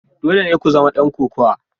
Dole ne ku zama dan kokawa.